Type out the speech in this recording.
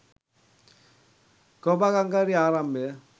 කොහොඹා කංකාරියේ ආරම්භය